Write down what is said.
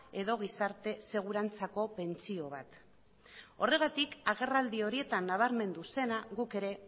edo gizarte segurantzako pentsio bat horregatik agerraldi horietan nabarmendu zena guk ere